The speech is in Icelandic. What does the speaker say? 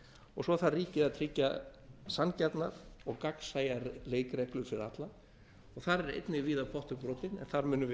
og svo þarf ríkið að tryggja sanngjarnar og gagnsæjar leikreglur fyrir alla og þar er einnig víða pottur brotinn en þar munum við